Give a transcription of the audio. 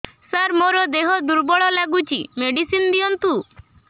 ସାର ମୋର ଦେହ ଦୁର୍ବଳ ଲାଗୁଚି ମେଡିସିନ ଦିଅନ୍ତୁ